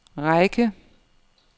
række